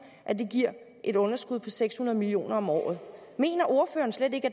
at det giver et underskud på seks hundrede million kroner om året mener ordføreren slet ikke